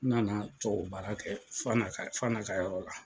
N nana tuwawubaara kɛ FANA ka FANA ka yɔrɔ la.